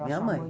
Minha mãe.